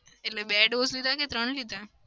એટલે બે dose લીધા કે ત્રણ લીધા?